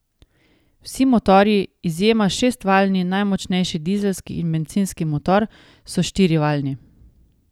Vsi motorji, izjema sta šestvaljni najmočnejši dizelski in bencinski motor, so štirivaljni.